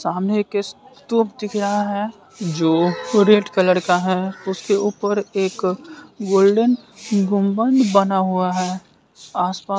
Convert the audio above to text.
सामने तोप दिख रहा है जो रेड कलर का है उसके ऊपर एक गोल्डेन गुंबद बना हुआ है आसपास--